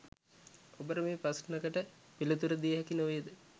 ඔබට මේ ප්‍රශ්නකට පිළිතුරු දිය හැකි නොවේද